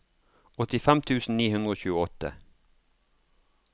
åttifem tusen ni hundre og tjueåtte